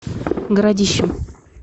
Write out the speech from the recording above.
городищем